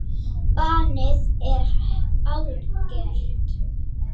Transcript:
Bannið er algert.